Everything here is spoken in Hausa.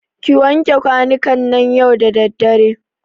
Ki wanke kwanukan nan yau da daddare.